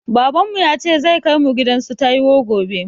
Baban mu yace zai kai mu gidan su taiwo gobe